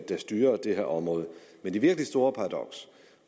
styrer det her område men det virkelig store paradoks